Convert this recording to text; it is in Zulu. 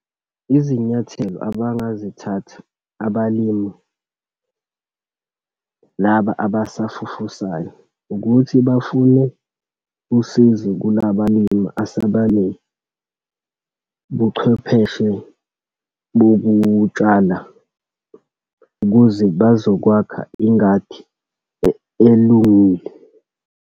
Izinyathelo abangazithatha abalimi, laba abasafufusayo ukuthi bafune usizo kulabalimi asabane buchwepheshe bokutshala ukuze bazokwakha ingadi elungile.